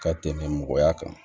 Ka tɛmɛ mɔgɔya kan